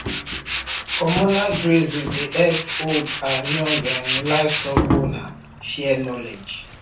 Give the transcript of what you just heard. communal grazing dey help old and young um livestock owners share knowledge